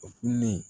O fililen